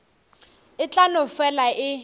e tla no fela e